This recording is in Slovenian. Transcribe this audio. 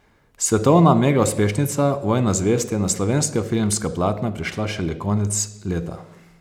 Svetovna megauspešnica Vojna zvezd je na slovenska filmska platna prišla šele konec leta.